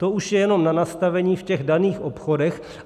To už je jenom na nastavení v těch daných obchodech.